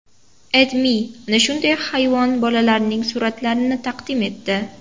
AdMe ana shunday hayvon bolalarining suratlarini taqdim etdi .